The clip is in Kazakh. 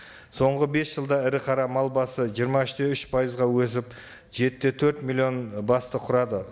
соңғы бес жылда ірі қара мал басы жиырма үш те үш пайызға өсіп жеті де төрт миллион басты құрады